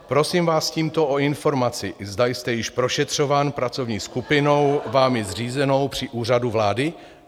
Prosím vás tímto o informaci, zda jste již prošetřován pracovní skupinou vámi zřízenou při Úřadu vlády.